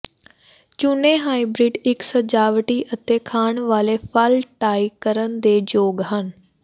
ਚੁਣੇ ਹਾਈਬ੍ਰਿਡ ਇੱਕ ਸਜਾਵਟੀ ਅਤੇ ਖਾਣ ਵਾਲੇ ਫਲ ਟਾਈ ਕਰਨ ਦੇ ਯੋਗ ਹਨ